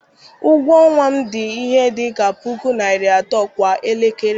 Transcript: Ụgwọ ọnwa m dị ihe dị ka puku naira atọ kwa elekere.